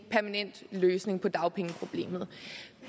løsning på dagpengeproblemet